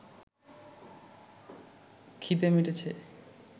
ক্ষিধে মিটেছে